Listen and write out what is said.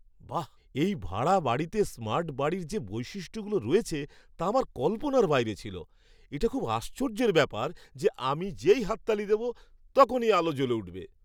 বাহ, এই ভাড়া বাড়িতে স্মার্ট বাড়ির যে বৈশিষ্ট্যগুলো রয়েছে তা আমার কল্পনার বাইরে ছিল। এটা খুব আশ্চর্যের ব্যাপার যে আমি যেই হাততালি দেব, তখনই আলো জ্বলে উঠবে!